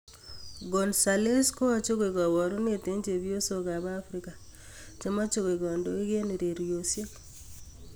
Gonzalez koache koek kabarunet eng chepyosok ab Africa che meche koek kandoik eng urerenosiek.